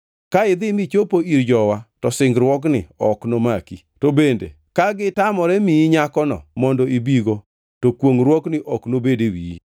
Ka idhi michopo ir jowa to singruogni ok nomaki, to bende ka gitamore miyi nyakono mondo ibigo, to kwongʼruokni ok nobed e wiyi.’